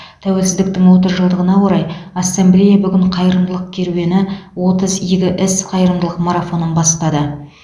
тәуелсіздіктің отыз жылдығына орай ассамблея бүгін қайырымдылық керуені отыз игі іс қайырымдылық марафонын бастады